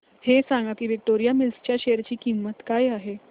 हे सांगा की विक्टोरिया मिल्स च्या शेअर ची किंमत काय आहे